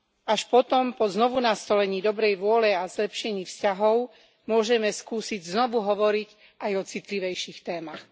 Až potom, po znovunastolení dobrej vôle a zlepšení vzťahov, môžeme skúsiť znovu hovoriť aj o citlivejších témach.